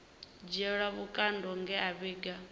dzhielwa vhukando nge a vhiga